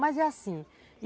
Mas é assim.